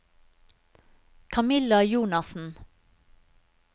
Camilla Jonassen